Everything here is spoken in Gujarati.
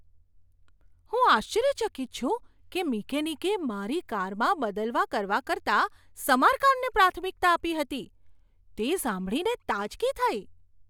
હું આશ્ચર્યચકિત છું કે મિકેનિકે મારી કારમાં બદલવા કરવા કરતાં સમારકામને પ્રાથમિકતા આપી હતી. તે સાંભળીને તાજગી થઈ.